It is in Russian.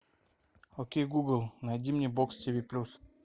окей гугл найди мне бокс тв плюс